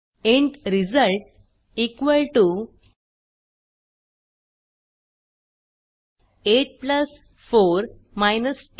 int result 84 2